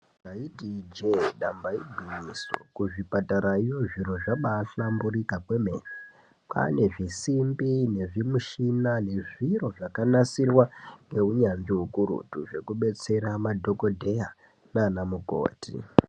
Taiti ijee damba igwinyiso, kuzvipatarayo zviro zvabahlamburika kwemene kwane zvisimbi, nezvimushina nezviro zvakanasirwa ngeunyanzvi ukurutu zvekubetsera madhokodheya nana mukoti.